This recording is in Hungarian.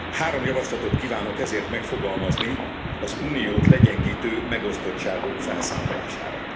Három javaslatot kívánok ezért megfogalmazni az Uniót legyengítő megosztottságok felszámolására.